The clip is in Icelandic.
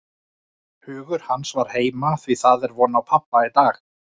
Hugur hans var heima, því það var von á pabba í dag.